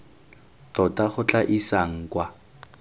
tota go tla isang kwa